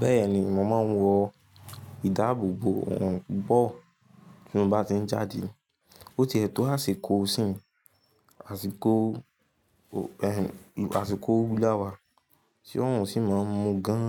Bẹ́ẹ̀ni, mo máa ń wọ ìdáàbòbò òrún bọ̀ tí mo bá ti ń jáde. Ó ti ètò àsìkò sìn, àsìkò, ẹh, àsìkò búláwà, tí òrún sì máa ń mú gan